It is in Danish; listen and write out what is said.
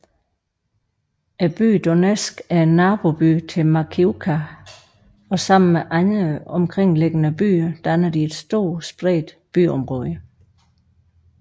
Byen Donetsk er er naboby til Makiivka og sammen med andre omkringliggende byer danner de et stort spredt byområde